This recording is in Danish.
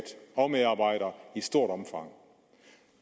og medarbejdere i stort omfang